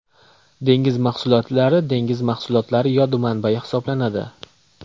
Dengiz mahsulotlari Dengiz mahsulotlari yod manbayi hisoblanadi.